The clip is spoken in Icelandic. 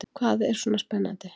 Hvað er svona spennandi?